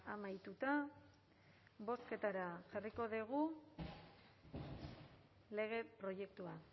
amaituta bozketara jarriko dugu lege proiektua